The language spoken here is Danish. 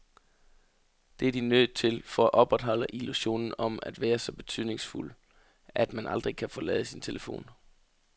Det er de nødt til for at opretholde illusionen om at være så betydningsfuld, at man aldrig kan forlade sin telefon.